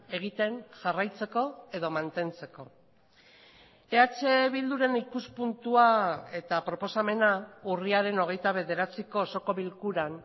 egiten jarraitzeko edo mantentzeko eh bilduren ikuspuntua eta proposamena urriaren hogeita bederatziko osoko bilkuran